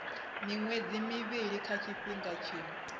miṅwedzi mivhili kha tshifhinga tshiṅwe